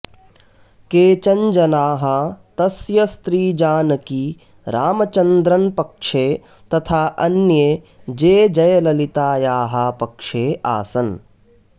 केचन् जनाः तस्य स्त्री जानकी रामचन्द्रन् पक्षे तथा अन्ये जे जयललितायाः पक्षे आसन्